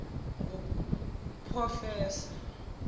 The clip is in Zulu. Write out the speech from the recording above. nguproffesor